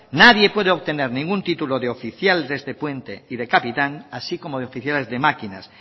nadie puede obtener ningún título de oficial de este puente ni de capitán así como de oficiales de máquinas